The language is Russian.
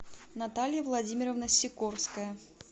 наталья владимировна сикорская